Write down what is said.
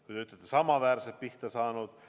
Kui te küsite, kas samaväärselt pihta saanud ...